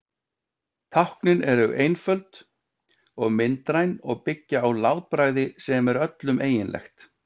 Táknin eru einföld og myndræn og byggja á látbragði sem er öllum eiginlegt.